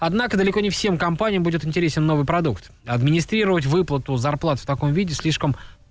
однако далеко не всем компаниям будет интересен новый продукт администрировать выплату зарплат в таком виде слишком